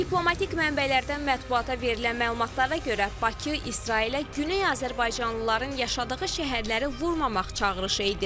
Diplomatik mənbələrdən mətbuata verilən məlumatlara görə, Bakı İsrailə Güney Azərbaycanlıların yaşadığı şəhərləri vurmamaq çağırışı edib.